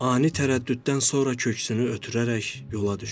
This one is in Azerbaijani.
Ani tərəddüddən sonra köksünü ötürərək yola düşdü.